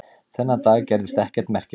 Þennan dag gerðist ekkert merkilegt.